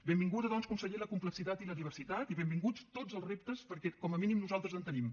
benvinguda doncs conseller la complexitat i la diversitat i benvinguts tots els reptes perquè com a mínim nosaltres en tenim